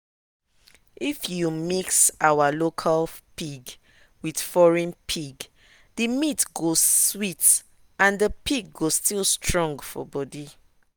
if you mix our local pig with foreign pig the meat go sweet and the pig go still strong for body.